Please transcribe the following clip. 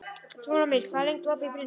Súlamít, hvað er lengi opið í Brynju?